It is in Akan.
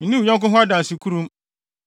Nni wo yɔnko ho adansekurum